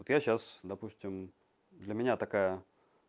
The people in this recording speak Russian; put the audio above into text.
я сейчас допустим для меня такая